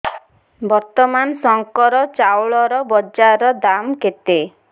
ବର୍ତ୍ତମାନ ଶଙ୍କର ଚାଉଳର ବଜାର ଦାମ୍ କେତେ